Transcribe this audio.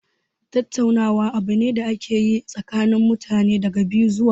Tattaunawa abu ne da ake yi tsakanin mutane daga biyu zuwa sama.